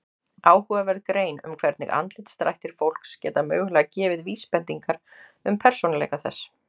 Áhugaverð grein um hvernig andlitsdrættir fólks geta mögulega gefið vísbendingar um persónuleika þess.